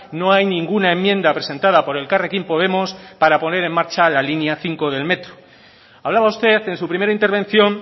no hay ninguna enmienda presentada por elkarrekin podemos para poner en marcha la línea cinco del metro hablaba usted en su primera intervención